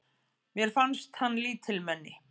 Mér fannst hann lítilmenni.